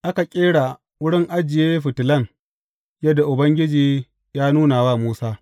Aka ƙera wurin ajiye fitilan yadda Ubangiji ya nuna wa Musa.